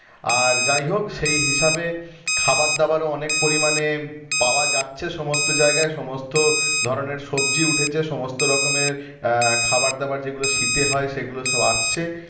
আর যাই হোক সেই হিসাবে খাবার দাবারও অনেক পরিমাণে পাওয়া যাচ্ছে সমস্ত জায়গায় সমস্ত ধরনের সবজি উঠেছে সমস্ত রকমের আহ খাওয়া-দাওয়ার যেগুলো শীতে হয় সেগুলো সব আসছে